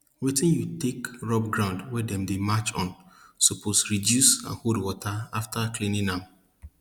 wetin you take rub ground wey dem dey march on suppose reduce and hold water after cleaning am